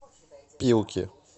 пилки